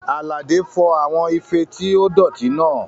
Àlàdé fọ àwọn ife tí ó dọ̀tí náà